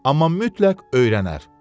Amma mütləq öyrənər.